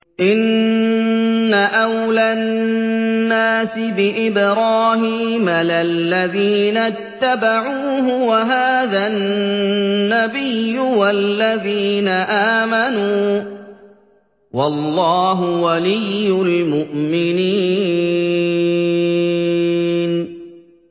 إِنَّ أَوْلَى النَّاسِ بِإِبْرَاهِيمَ لَلَّذِينَ اتَّبَعُوهُ وَهَٰذَا النَّبِيُّ وَالَّذِينَ آمَنُوا ۗ وَاللَّهُ وَلِيُّ الْمُؤْمِنِينَ